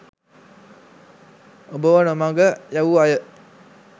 ඔබව නොමඟ යැවූ අය